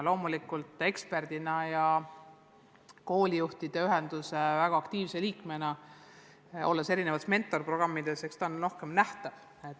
Loomulikult eksperdina ja koolijuhtide ühenduse väga aktiivse liikmena, kes on osalenud erinevates mentorprogrammides, on Heidi Uustalu rohkem nähtav.